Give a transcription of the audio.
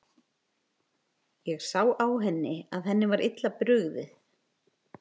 Ég sá á henni að henni var illa brugðið.